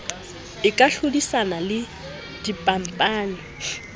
e ka hlodisana le dikhampani